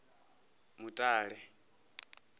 mutale